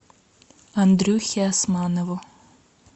андрюхе османову